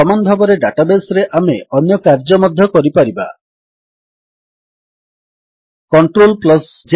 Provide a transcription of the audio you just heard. ସମାନ ଭାବରେ ଡାଟାବେସ୍ ରେ ଆମେ ଅନ୍ୟ କାର୍ଯ୍ୟ ମଧ୍ୟ କରିପାରିବା160